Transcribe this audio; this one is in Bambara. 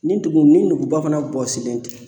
Ni dugu ni duguba fana bɔsilen tɛ